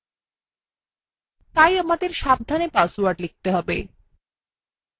তাই আমাদের সাবধানে পাসওয়ার্ড লিখতে have